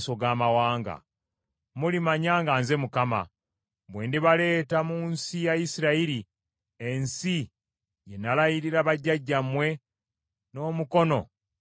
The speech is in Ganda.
Mulimanya nga nze Mukama , bwe ndibaleeta mu nsi ya Isirayiri ensi gye nalayirira bajjajjammwe n’omukono ogugoloddwa.